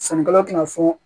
Sannikɛla tɛna fɔ